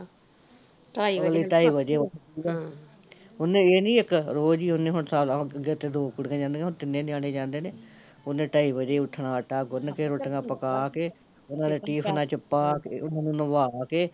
ਅਗਲੀ ਢਾਈ ਵਜੇ ਉੱਠਦੀ ਐ ਹਮ ਉਹਨੇ ਏਹ ਨੀ ਇੱਕ ਰੋਜ਼ ਈ ਹੁਣ ਉਹਨੇ ਇੱਕ ਅੱਗੇ ਤੇ ਦੋ ਕੁੜੀਆਂ ਜਾਂਦੀਆ ਤੇ ਹੁਣ ਤਾਂ ਤਿਨੈ ਨਿਆਣੇ ਜਾਂਦੇ ਨੇ ਉਹਨੇ ਢਾਈ ਵਜੇ ਈ ਉੱਠਣਾ ਆਟਾ ਗੁਨ ਕੇ ਰੋਟੀਆਂ ਪਕਾ ਕੇ ਓਹਨਾਂ ਦੇ ਟਿਫ਼ਨਾ ਚ ਪਾਕੇ ਓਹਨਾਂ ਨੂੰ ਨਵਾ ਕੇ